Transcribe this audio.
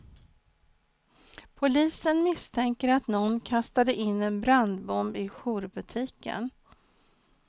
Polisen misstänker att någon kastade in en brandbomb i jourbutiken.